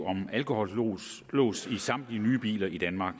om alkolås i samtlige nye biler i danmark